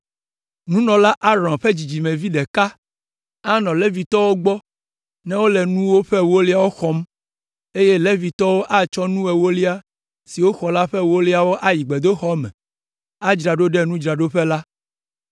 Nunɔla Aron ƒe dzidzimevi ɖeka anɔ Levitɔwo gbɔ ne wole nuwo ƒe ewoliawo xɔm, eye Levitɔwo atsɔ nu ewolia si woxɔ la ƒe ewolia ayi gbedoxɔ me, adzra ɖo ɖe nudzraɖoƒe la.